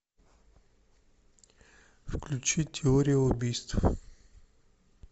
включи теория убийств